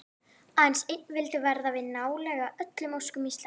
Aðeins einn vildi verða við nálega öllum óskum Íslendinga.